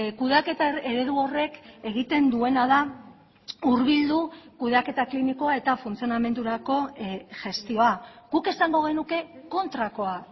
kudeaketa eredu horrek egiten duena da hurbildu kudeaketa klinikoa eta funtzionamendurako gestioa guk esango genuke kontrakoa